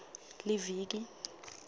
liviki